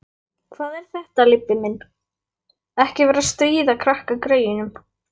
Hvað er þetta, Leibbi minn. ekki vera að stríða krakkagreyjunum!